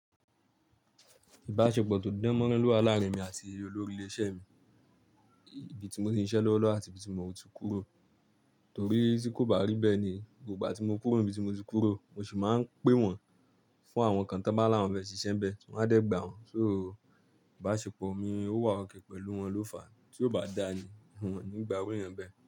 Ìbáṣepọ̀ tó dán mọ́rán lówà làárin emi àti olórí ilé iṣẹ́ mi, ibi tí mo ti ń ṣiṣẹ́ lọ́wọ́ àti ibi tí mo ti kúrò. Torí tí kò bá rí bẹ́ẹ̀ ni, gbogbo ìgbà tí mo kúrò ní ibi tí mo ti kúrò, mo sì máa ń pé wọ́n fún àwọn kán to bá làwọn fe ṣiṣẹ́ n bẹ́ẹ̀, wọn a dẹ́ gbàá wọn. So ìbáṣepọ̀ mi ó wà okay pẹ̀lú wọn ló fàá tí ó bá dàni wọn nígbà irú ènìyàn bẹ́ẹ̀